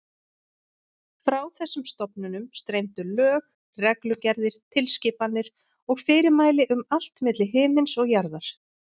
Frá þessum stofnunum streymdu lög, reglugerðir, tilskipanir og fyrirmæli um allt milli himins og jarðar.